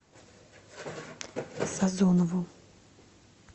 сазонову